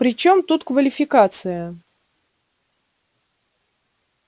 при чём тут квалификация